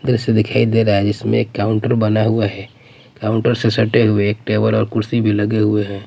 द्रश्य दिखाई दे रहा हैं जिसमे में एक काउंटर बना हुआ हैं काउन्टर से सटे हुए एक टेबल और कुर्सी भी लगे हुए हैं।